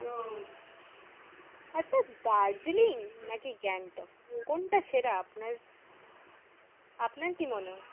আচ্ছা দার্জিলিং নাকি গ্যাংটক কোনটা সেরা আপনার আপনার কি কি